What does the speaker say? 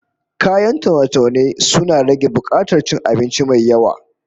Kayan taune-taune suna rage bukatar cin abinci mai yawa